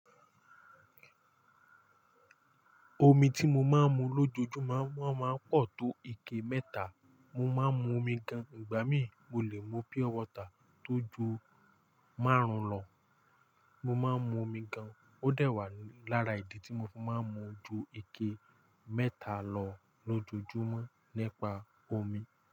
Omi tí mo máa ń mu lójoojúmọ́ won máa ń pọ̀ tó ike mẹ́ta. Mo máa ń mu omi gan-an. Ìgbà mí mo lè mu pure water tó ju márùn-ún lọ. Mo máa ń mu omi gan-an. Ó dẹ̀ wá lára ìdí tí mo fi máa ń mu ju ike mẹ́ta lọ lójoojúmọ́ nípa omi.